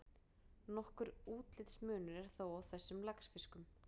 Nokkur útlitsmunur er þó á þessum laxfiskum.